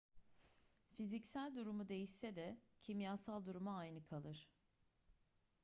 fiziksel durumu değişse de kimyasal durumu aynı kalır